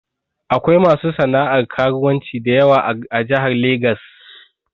Akwai masu sana'ar karuwanci dayawa a Jahar Legas